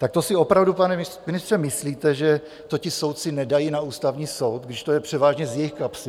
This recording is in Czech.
Tak to si opravdu, pane ministře, myslíte, že to ti soudci nedají na Ústavní soud, když to je převážně z jejich kapsy?